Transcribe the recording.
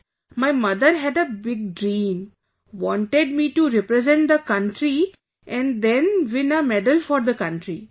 Hence my mother had a big dream...wanted me to represent the country and then win a medal for the country